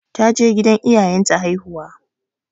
Ta je gidan iyayen ta haihuwa.